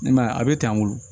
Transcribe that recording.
I m'a ye a bɛ tan o